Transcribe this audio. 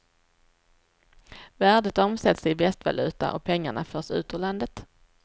Värdet omsätts i västvaluta och pengarna förs ut ur landet.